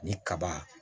Ni kaba